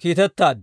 kiitettaad.